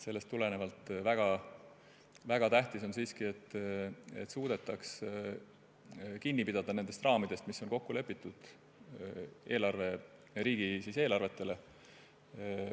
Sellest tulenevalt on väga tähtis, et suudetaks kinni pidada raamidest, milles on riigieelarvete puhul kokku lepitud.